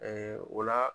o la